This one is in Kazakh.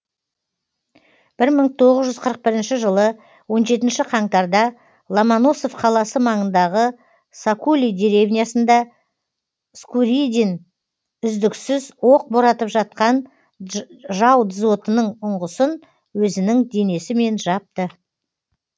бір мың тоғыз жүз қырық бірінші жылы он жетінші қаңтарда ломоносов қаласы маңындағы сокули деревнясында скуридин үздіксіз оқ боратып жатқан жау дзотының ұңғысын өзінің денесімен жапты